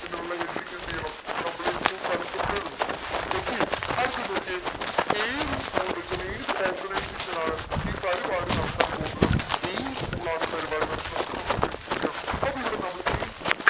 എന്നുള്ള heading എന്തെയ്യണം നമ്മൾ ഏറ്റവും തലപ്പത്തു എഴുതണം okay അടുത്തത് നോക്കിയേ ഏത് school ൽ വെച്ചാണ് ഏത് organisation ആണ് ഈ പരിപാടി നടത്താൻ പോകുന്നത് ഏത് school ആണ് ഈ പരിപാടി നടത്തുന്നത് അത് നമ്മൾ mention ചെയ്യണം അപ്പൊ ഇവിടെ നമ്മൾ a b c